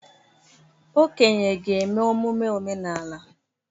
Okenye ga-eme emume omenala.